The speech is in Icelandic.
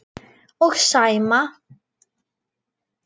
Og Sæma.